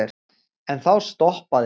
En þá stoppaði